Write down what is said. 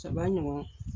Saba ɲɔgɔn